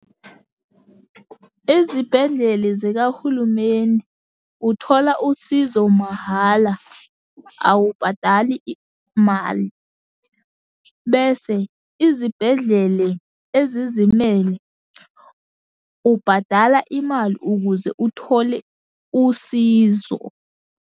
Izibhedlele zikahulumeni, uthola usizo mahhala awubhadali mali, bese izibhedlele ezizimele, ubhadala imali ukuze uthole usizo.